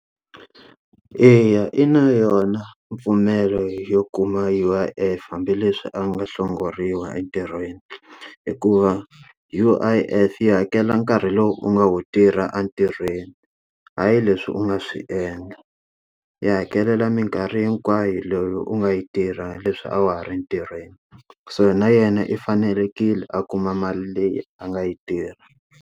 Eya, i na yona mpfumelo yo kuma U_I_F hambileswi a nga hlongoriwa entirhweni. Hikuva U_I_F yi hakela nkarhi lowu u nga wu tirha a ntirhweni, hayi leswi u nga swi endla. Yi hakelela minkarhi hinkwayo leyi u nga yi tirha leswi a wa ha ri ntirhweni. So na yena i fanelekile a kuma mali leyi a nga yi tirha.